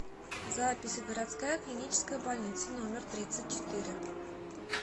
запись городская клиническая больница номер тридцать четыре